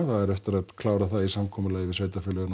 það á eftir að klára það í samkomulagi við sveitarfélögin á